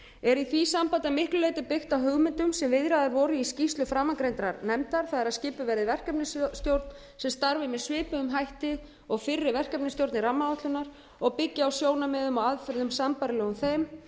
er í því sambandi að miklu leyti byggt á hugmyndum sem viðraðar voru í skýrslu framangreindrar nefndar það er að skipuð verði verkefnisstjórn sem starfi með svipuðum hætti og fyrri verkefnisstjórnir rammaáætlunar og byggja á sjónarmiðum og aðferðum sambærilegum þeim